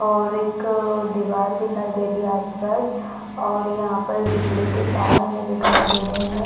और एक दिवार दिखाई दे रही आसपास और यहाँ पर बिजली के तार हमें दिखाई दे रहे है।